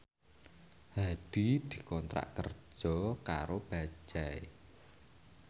Hadi dikontrak kerja karo Bajaj